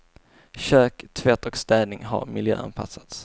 Kök, tvätt och städning har miljöanpassats.